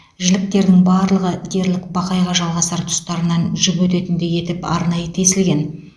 жіліктерінің барлығы дерлік бақайға жалғасар тұстарынан жіп өтетіндей етіп арнайы тесілген